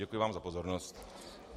Děkuji vám za pozornost.